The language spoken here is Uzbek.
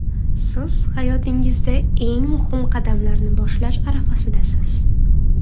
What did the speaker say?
Siz hayotingizda eng muhim qadamlarni boshlash arafasidasiz.